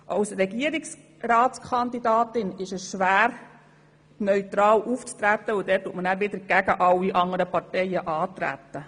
Als Regierungsratskandidatin ist es schwer, neutral aufzutreten, denn damit tritt man ja wiederum gegen alle anderen Parteien an.